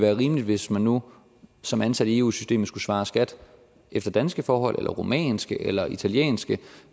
rimeligt hvis man nu som ansat i eu systemet skulle svare skat efter danske forhold eller rumænske eller italienske